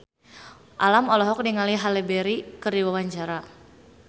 Alam olohok ningali Halle Berry keur diwawancara